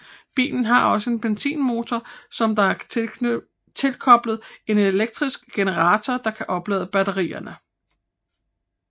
Bilen har også en benzinmotor som der tilkoblet en elektrisk generator der kan oplade batterierne